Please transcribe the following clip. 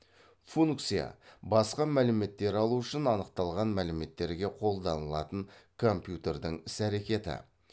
функция басқа мәліметтер алу үшін анықталған мәліметтерге қолданылатын компьютердің іс әрекеті